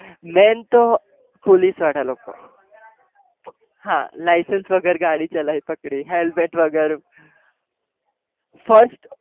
main તો police વાળા લોકો હા licence વગર ગાડી ચલાવી પકડી helmet વગર first